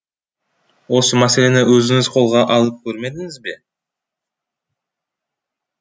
осы мәселені өзіңіз қолға алып көрмедіңіз бе